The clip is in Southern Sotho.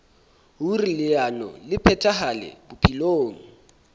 hoer leano le phethahale bophelong